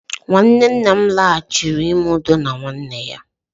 nwanne nna m laghachiri ime udo na nwanne ya